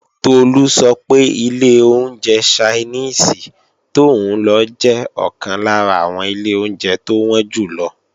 Tolú sọ pé ilé oúnjẹ Ṣainíìsì tóún lọ jẹ́ ọ̀kan lára àwọn ilé oúnjẹ tó wọ́n jù lọ